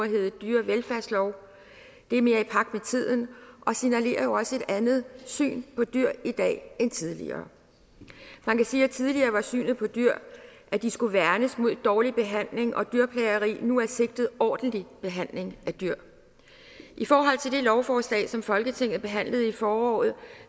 hedde dyrevelfærdslov det er mere i pagt med tiden og signalerer jo også et andet syn på dyr i dag end tidligere man kan sige at tidligere var synet på dyr at de skulle værnes mod dårlig behandling og dyrplageri nu er sigtet en ordentlig behandling af dyr i forhold til det lovforslag som folketinget behandlede i foråret